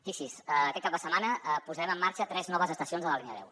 fixi’s aquest cap de setmana posarem en marxa tres noves estacions de la línia deu